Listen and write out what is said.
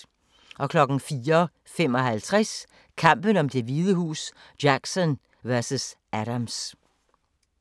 04:55: Kampen om Det Hvide Hus: Jackson vs. Adams